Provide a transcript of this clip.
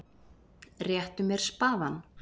Réttu mér spaðann!